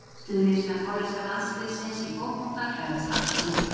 Stuðningsmenn hollenska landsliðsins í fótbolta klæðast appelsínugulu.